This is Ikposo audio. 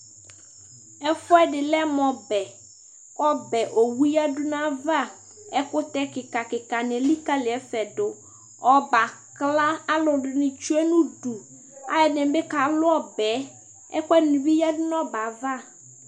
ɛfʊɛdɩ lɛ mʊ ɔbɛ, ɔbɛwu yǝdʊ nʊ ayava, ɛkʊtɛ kika nɩ elikalɩ yɩ dʊ, ɔbɛ yɛ akla, alʊɛdɩnɩ tsue nʊ udu, alʊɛdɩnɩ bɩ ka tsikpɔ ɔbɛ yɛ, ɛkʊɛdɩ yǝdʊ nʊ ɔbɛ yɛ ava